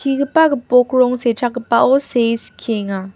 gipok rong sechakgipao see skienga.